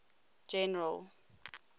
general